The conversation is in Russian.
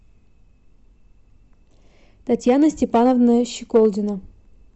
татьяна степановна щеколдина